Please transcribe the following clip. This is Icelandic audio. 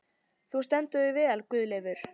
Þú stendur þig vel, Guðleifur!